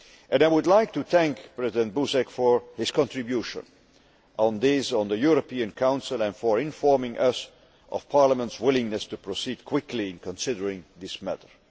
I would like to thank President Buzek for his contribution on this at the European Council and for informing us of Parliament's willingness to proceed quickly in considering this matter.